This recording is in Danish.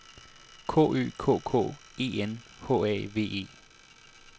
K Ø K K E N H A V E